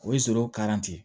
O ye